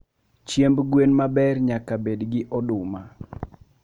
Chiemb gwen maber nyaka bed gi oduma